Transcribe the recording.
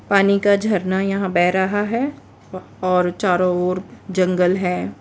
पानी का झरना यहां बह रहा है और चारों ओर जंगल है।